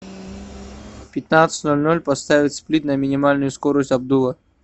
в пятнадцать ноль ноль поставить сплит на минимальную скорость обдува